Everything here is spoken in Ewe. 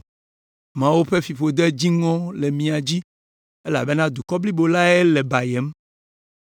“Mawu ƒe fiƒode dziŋɔ le mia dzi elabena dukɔ blibo lae le bayem.